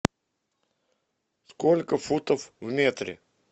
сколько футов в метре